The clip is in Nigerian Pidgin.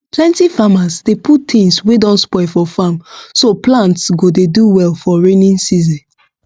plenty farmers dey put things wey don spoil for farm so plants go dey do well for raining season